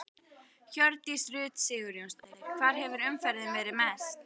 Hjördís Rut Sigurjónsdóttir: Hvar hefur umferðin verið mest?